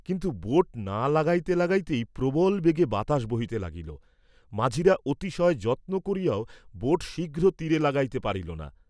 কিন্তু বোট না লাগাইতে লাগাইতেই প্রবল বেগে বাতাস বহিতে লাগিল, মাঝিরা অতিশয় যত্ন করিয়াও বোট শীঘ্র তীরে লাগাইতে পারিল না।